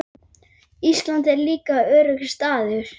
Ísland er líka öruggur staður.